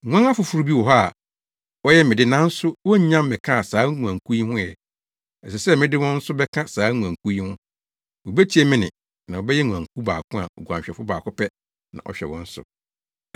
Nguan afoforo bi wɔ hɔ a wɔyɛ me de nanso wonnya mmɛkaa saa nguankuw yi ho ɛ. Ɛsɛ sɛ mede wɔn nso bɛka saa nguankuw yi ho. Wobetie me nne na wɔbɛyɛ nguankuw baako a oguanhwɛfo baako pɛ na ɔhwɛ wɔn so.